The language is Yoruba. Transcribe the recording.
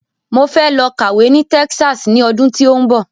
Mo fẹ́ lọ kàwé ní Texas ní ọdún tí ó ń bọ̀